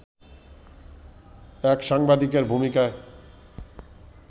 এক সাংবাদিকের ভূমিকায়